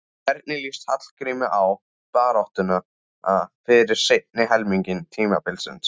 Hvernig lýst Hallgrími á baráttuna fyrir seinni helming tímabilsins?